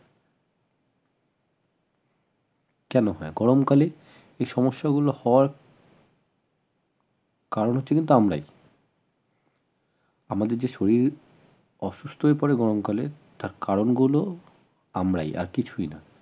কেন হয় গরমকালে এ সমস্যাগুলো হওয়ার কারণ হচ্ছে কিন্তু আমরাই আমরা যদি শরীর অসুস্থ হয়ে পরে গরম কালে কারণগুলো আমরাই আর কিছুই না